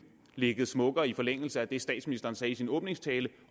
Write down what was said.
ligget smukkere i forlængelse af det statsministeren sagde i sin åbningstale